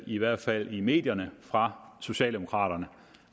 i hvert fald i medierne fra socialdemokraterne